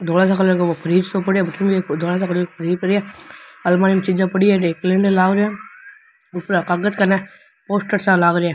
धोला सो कलर को फ्रिज सो पड़े है अलमारी में पोस्टर सा लाग रेया।